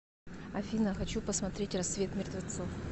афина хочу посмотреть рассвет мертвецов